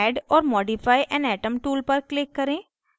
add or modify an atom tool पर click करें